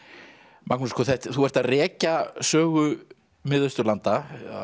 Magnús þú ert að rekja sögu Mið Austurlanda